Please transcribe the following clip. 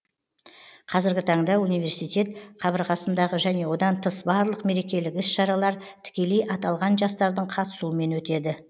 қазіргі таңда университет қабырғасындағы және одан тыс барлық мерекелік іс шаралар тікелей аталған жастардың қатысуымен өтеді